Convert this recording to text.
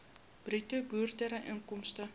bruto boerderyinkomste